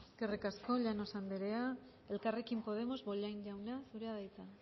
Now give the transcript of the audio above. eskerrik asko llanos anderea elkarrekin podemos bollain jauna zurea da hitza